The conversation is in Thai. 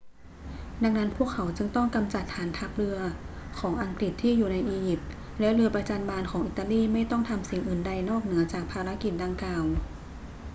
ดังนั้นพวกเขาจึงต้องกำจัดฐานทัพและเรือของอังกฤษที่อยู่ในอียิปต์ และเรือประจัญบานของอิตาลีไม่ต้องทำสิ่งอื่นใดนอกเหนือจากภารกิจดังกล่าว